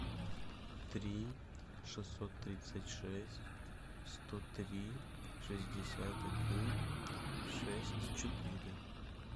три шестьсот тридцать шесть сто три шестьдесят один шесть четыре